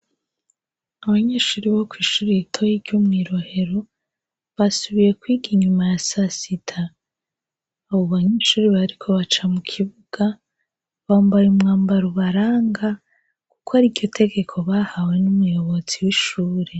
Abanyeshuri bo kw'ishuraye i toyi ryo mw'irohero basubiye kwiga inyuma ya sasida abubanya ichuri b, ariko baca mu kibuga bambara iumwambara ubaranga, kuko ari iryo tegeko bahawe n'umuyobotsi w'ishure.